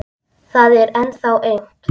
Það er ennþá aumt.